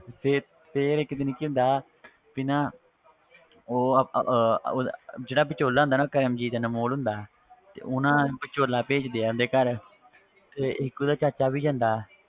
ਤੇ ਫਿਰ ਇੱਕ ਦਿਨ ਕੀ ਹੁੰਦਾ ਵੀ ਨਾ ਉਹ ਅਹ ਅਹ ਉਹਦਾ ਜਿਹੜਾ ਵਿਚੋਲਾ ਹੁੰਦਾ ਨਾ ਕਰਮਜੀਤ ਅਨਮੋਲ ਹੁੰਦਾ ਤੇ ਉਹ ਨਾ ਵਿਚੋਲਾ ਭੇਜਦੇ ਆ ਉਹਦੇ ਘਰ ਤੇ ਇੱਕ ਉਹਦਾ ਚਾਚਾ ਵੀ ਜਾਂਦਾ